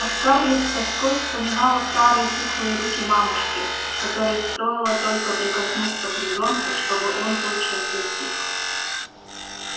а скарлетт с тоской вспоминала старые пухлые руки мамушки которой стоило только прикоснуться к ребёнку чтобы он тотчас затих